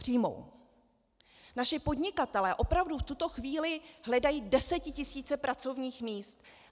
Naši podnikatelé opravdu v tuto chvíli hledají desetitisíce pracovních míst.